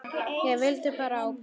Ég vildi vera ábyrg.